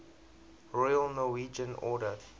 royal norwegian order